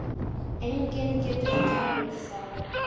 Enginn getur talið þá.